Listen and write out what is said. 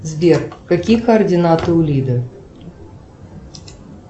сбер какие координаты у лиды